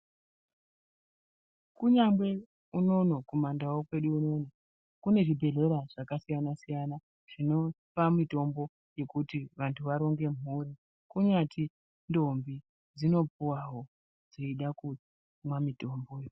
Kunyangwe unono kumandau kwedu unono kune zvibhedhlera zvakasiyana siyana zvinopa mitombo yekuti vantu varonge mhuri kunyati ntombi dzinopuwawo dzeida kumwa mitomboyi.